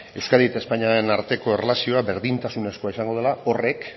euskadi eta espainiaren arteko erlazioa berdintasunezkoa izango dela horrek